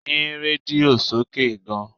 Yín rédíò sókè gan!